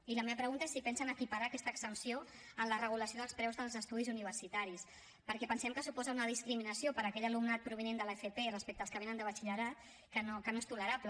i la meva pregunta és si pensen equiparar aquesta exempció en la regulació dels preus dels estudis universitaris perquè pensem que suposen una discriminació per a aquell alumnat provinent de l’fp respecte dels que vénen de batxillerat que no és tolerable